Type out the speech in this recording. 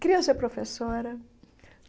Queria ser professora.